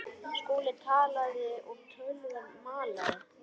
Skúli talaði og tölvan malaði.